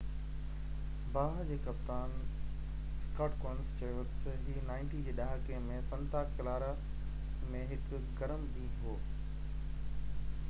باهه جي ڪپتان سڪاٽ ڪونس چيو ته هي 90 جي ڏهاڪي ۾ سنتا ڪلارا ۾ هڪ گرم ڏينهن هو